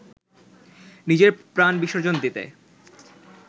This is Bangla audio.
নিজের প্রাণ বিসর্জন দিতে